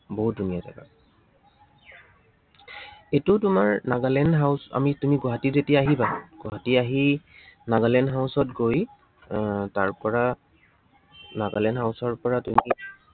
বহুত ধুনীয়া জাগা। এইটো তোমাৰ nagaland house আমি তুমি যেতিয়া গুৱাহাটী আহিবা, গুৱাহাটী আহি nagaland house ত গৈ আহ তাৰপৰা nagaland house ৰ পৰা তুমি